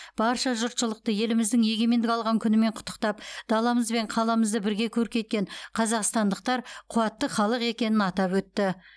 барша жұртшылықты еліміздің егемендік алған күнімен құттықтап даламыз бен қаламызды бірге көркейткен қазақстандықтар қуатты халық екенін атап өтті